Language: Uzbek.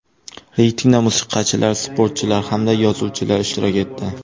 Reytingda musiqachilar, sportchilar hamda yozuvchilar ishtirok etdi.